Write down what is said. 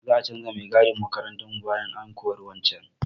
Za a canza mai gadin makarantarmu bayan an kori wancan.